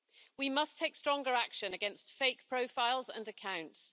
We must take stronger action against fake profiles and accounts.